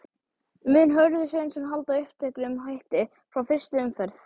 Mun Hörður Sveinsson halda uppteknum hætti frá fyrstu umferð?